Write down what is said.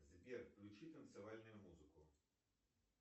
сбер включи танцевальную музыку